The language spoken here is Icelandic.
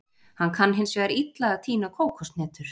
Hann kann hins vegar illa að tína kókoshnetur.